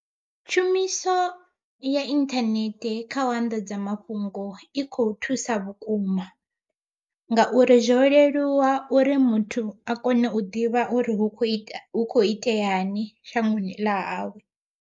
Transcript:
Tshumiso ya inthanethe kha u anḓadza mafhungo, i kho thusa vhukuma ngauri zwo leluwa uri muthu a kona u ḓivha uri hu kho ita hu kho itea ni shangoni ḽa hawe.